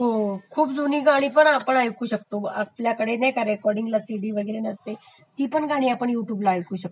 हो खूप जुनी गाणी पण आपण ऐकू शकते..आपल्यकडे नाही का रेकॉर्डींगला सिडी वैगरे नसते ती पण गाणी आपण युट्युबला ऐकू शकतो